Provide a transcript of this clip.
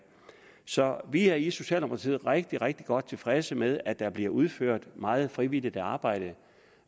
så vi er i socialdemokratiet rigtig rigtig godt tilfredse med at der bliver udført meget frivilligt arbejde